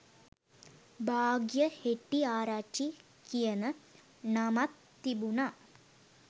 භාග්‍යා හෙට්ටිආරච්චි කියන නමත් තිබුණා